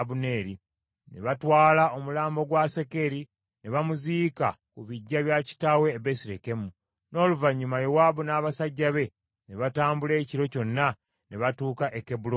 Ne batwala omulambo gwa Asakeri ne bamuziika ku biggya bya kitaawe e Besirekemu. N’oluvannyuma Yowaabu n’abasajja be ne batambula ekiro kyonna, ne batuuka e Kebbulooni enkeera.